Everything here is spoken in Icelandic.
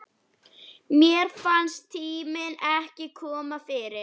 Mér fannst tíminn ekki kominn fyrr.